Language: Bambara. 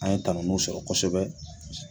An ye tanuniw sɔrɔ kosɛbɛ